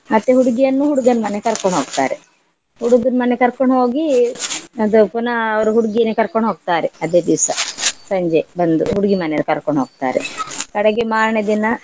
ಮತ್ತೆ ಹುಡುಗಿಯನ್ನು ಹುಡ್ಗನ್ ಮನೆೇಗ್ ಕರ್ಕೊಂಡ ಹೋಗ್ತಾರೆ. ಹುಡ್ಗನ್ ಮನೆೇಗ್ ಕರ್ಕೊಂಡ ಹೋಗಿ ಅದೇ ಪುನಃ ಅವ್ರು ಹುಡ್ಗಿನೇ ಕರ್ಕೊಂಡ್ ಹೋಗ್ತಾರೆ ಅದೆ ದಿವ್ಸ ಸಂಜೆ ಬಂದು ಹುಡ್ಗಿ ಮನೆಯವ್ರು ಕರ್ಕೊಂಡ್ ಹೋಗ್ತಾರೆ ಕಡೆಗೆ ಮಾರ್ನೆ ದಿನಾ.